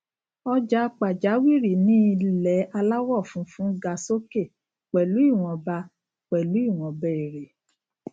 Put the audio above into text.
ọjà pàjáwìrì ní ilè aláwò funfun ga sókè pèlú ìwònba pèlú ìwònba èrè